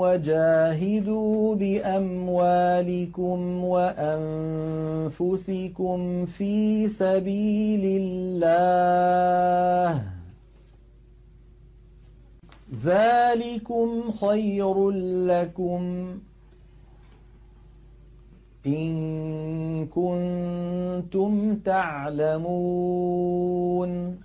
وَجَاهِدُوا بِأَمْوَالِكُمْ وَأَنفُسِكُمْ فِي سَبِيلِ اللَّهِ ۚ ذَٰلِكُمْ خَيْرٌ لَّكُمْ إِن كُنتُمْ تَعْلَمُونَ